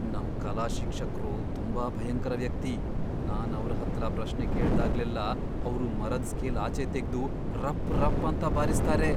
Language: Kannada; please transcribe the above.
ನಮ್ ಕಲಾ ಶಿಕ್ಷಕ್ರು ತುಂಬಾ ಭಯಂಕರ ವ್ಯಕ್ತಿ. ನಾನ್ ಅವ್ರ್ ಹತ್ರ ಪ್ರಶ್ನೆ ಕೇಳ್ದಾಗ್ಲೆಲ್ಲಾ ಅವ್ರು ಮರದ್ ಸ್ಕೇಲ್ ಆಚೆ ತೆಗ್ದು ರಪ್ ರಪ್ ಅಂತ ಬಾರಿಸ್ತಾರೆ.